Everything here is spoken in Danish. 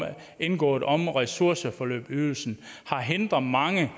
indgået om ressourceforløbsydelsen har hindret mange